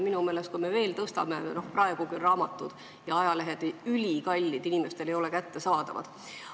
Minu meelest on raamatud ja ajalehed praegugi ülikallid, inimestele ei ole need kättesaadavad.